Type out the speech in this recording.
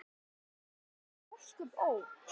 Svona þoli ósköp, ó!